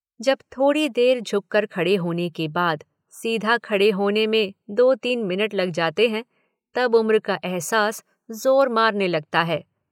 जब थोड़ी देर झुक कर खड़े होने के बाद सीधा खड़े होने में दो तीन मिनट लग जाते हैं, तब उम्र का अहसास ज़ोर मारने लगता है।